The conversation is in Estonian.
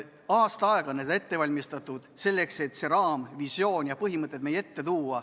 Aasta aega on tehtud ettevalmistusi, et see raamvisioon ja need põhimõtted meie ette tuua.